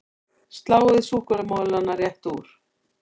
Sláið súkkulaðimolana létt úr